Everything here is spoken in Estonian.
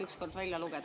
… ükskord välja lugeda.